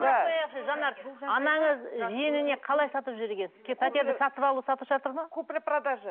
жанар анаңыз жиеніне қалай сатып жіберген пәтерді сатып алу сату шарты ма купли продажа